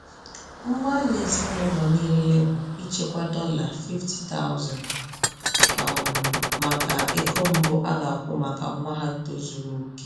Mgbalị ezinụlọ niile bụ ichekwa dollar 50,000 um maka ego mbu a ga-akwụ maka nwa ha tozuru oke.